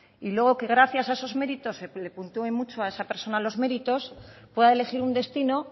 y luego que gracias a esos méritos se le puntúe mucho a esa persona los méritos pueda elegir un destino